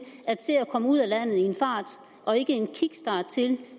at se at komme ud af landet i en fart og ikke en kickstart til